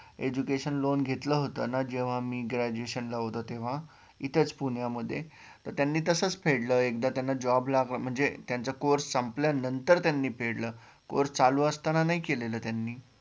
education loan घेतल होत ना जेव्हा मी graduation ला होतो तेव्हा इथचं पुण्यामध्ये त्यांनी तसच फेडल एकदा त्यांना job लागला म्हणजे त्यांच course संपल्यानंतर त्यांनी फेडल course चालू असताना नाही केलेल त्यांनी